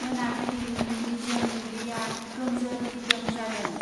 मोनाबिलिनि निजोम बुब्लिया गोमजोर दिदोम जादों।